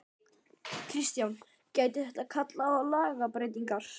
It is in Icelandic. Kristján: Gæti þetta kallað á lagabreytingar?